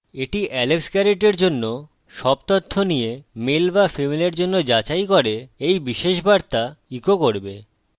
এটি alex garret এর জন্য সব তথ্য নিয়ে male বা female এর জন্য যাচাই করে এই বিশেষ বার্তা ইকো করবে